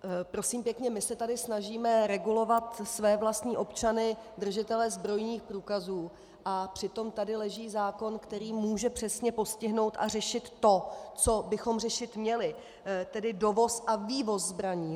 Prosím pěkně, my se tady snažíme regulovat své vlastní občany - držitele zbrojních průkazů, a přitom tady leží zákon, který může přesně postihnout a řešit to, co bychom řešit měli, tedy dovoz a vývoz zbraní.